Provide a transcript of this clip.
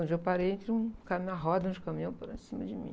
Eu já parei entre um caminhão, uma roda de um caminhão por cima de mim.